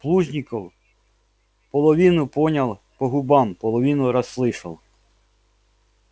плужников половину понял по губам половину расслышал